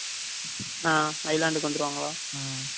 ஆஹ் island வந்துருவாங்களா.